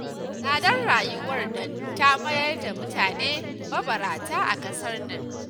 Tsadar rayuwar nan ta mayar da mutane mabarata a ƙasar nan